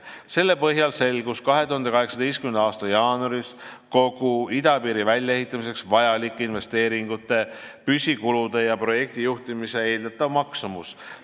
Selle põhjal selgus 2018. aasta jaanuaris kogu idapiiri väljaehitamiseks vajalike investeeringute, püsikulude ja projektijuhtimise eeldatav maksumus.